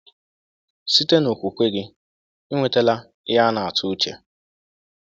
Site n’okwukwe gị, ị nwetala ihe a a na-atụ uche.